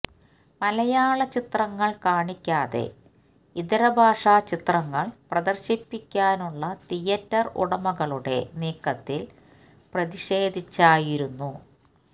മലയാള ചിത്രങ്ങൾ കാണിക്കാതെ ഇതരഭാഷാ ചിത്രങ്ങൾ പ്രദർശിപ്പിക്കാനുള്ള തിയറ്റർ ഉടമകളുടെ നീക്കത്തിൽ പ്രതിഷേധിച്ചായിരുന്ന